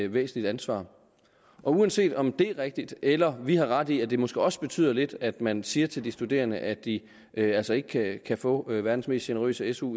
væsentligt ansvar uanset om det er rigtigt eller vi har ret i at det måske også betyder lidt at man siger til de studerende at de altså ikke kan få verdens mest generøse su